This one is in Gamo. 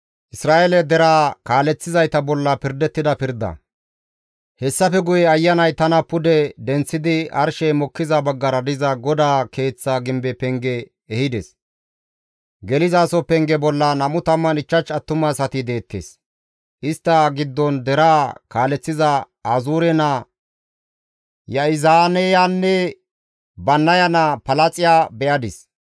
Hessafe guye Ayanay tana pude denththidi arshey mokkiza baggara diza GODAA keeththa gimbe penge ehides. Gelizaso penge bolla 25 attumasati deettes; istta giddon deraa kaaleththiza Azuure naa Ya7izaaneyanne Bannaya naa Palaaxiya be7adis.